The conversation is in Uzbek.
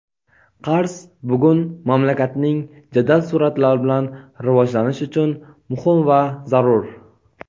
Qarz bugun mamlakatning jadal suratlar bilan rivojlanishi uchun muhim va zarur.